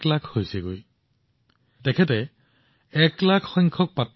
আপুনি আচৰিত হব যে নাৰায়ণনজীয়ে বিতৰণ কৰা বাচনবৰ্তনৰ সংখ্যা এক লাখ অতিক্ৰম কৰিবলৈ গৈ আছে